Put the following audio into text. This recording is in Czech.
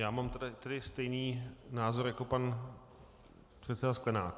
Já mám tedy stejný názor jako pan předseda Sklenák.